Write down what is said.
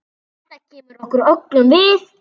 Þetta kemur okkur öllum við.